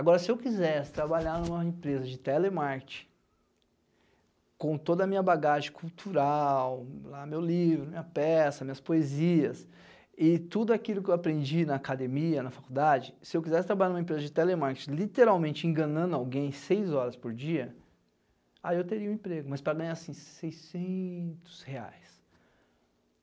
Agora, se eu quisesse trabalhar em uma empresa de telemarketing, com toda a minha bagagem cultural, meu livro, minha peça, minhas poesias, e tudo aquilo que eu aprendi na academia, na faculdade, se eu quisesse trabalhar numa empresa de telemarketing, literalmente enganando alguém seis horas por dia, aí eu teria um emprego, mas para ganhar, assim, seiscentos reais.